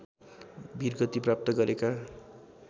वीरगति प्राप्त गरेका